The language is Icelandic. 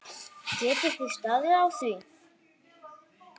Geti þið staðið á því?